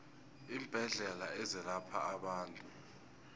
iimbedlela ezelapha abantu